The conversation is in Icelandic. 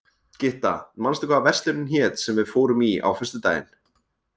Gytta, manstu hvað verslunin hét sem við fórum í á föstudaginn?